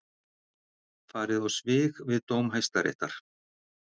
Farið á svig við dóm Hæstaréttar